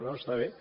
no està bé